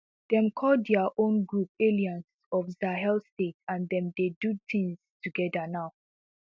demm call dia own group alliance of sahel states and dem dey do tins togeda now